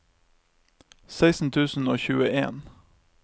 seksten tusen og tjueen